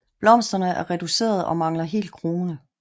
Blomsterne er reducerede og mangler helt krone